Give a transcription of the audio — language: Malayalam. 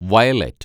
വയലറ്റ്